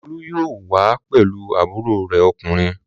Olú yóò wá pẹ̀lú àbúrò rẹ̀ ọkùnrin.